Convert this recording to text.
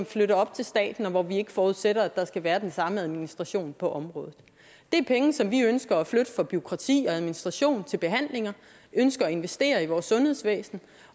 flytter op til staten og hvor vi forudsætter at der ikke skal være den samme administration på området det er penge som vi ønsker at flytte fra bureaukrati og administration til behandlinger vi ønsker at investere i vores sundhedsvæsen